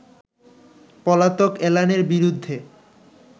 পলাতক এলানের বিরুদ্ধে